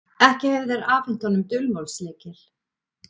Ekki hefðu þeir afhent honum dulmálslykil.